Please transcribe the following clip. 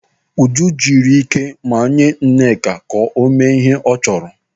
Uju na-ejiri ike manye Nneka ka o mee ihe ọ chọrọ.